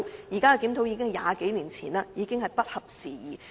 現有檢討早在超過20年前完成，已經不合時宜。